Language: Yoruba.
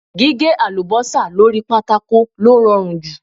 Gíhé àlùbọ́sà lóri pátákò ló rọrùn jù.